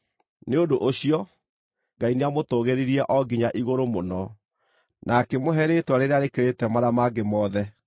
Nĩ ũndũ ũcio, Ngai nĩamũtũũgĩririe o nginya igũrũ mũno, na akĩmũhe rĩĩtwa rĩrĩa rĩkĩrĩte marĩa mangĩ mothe,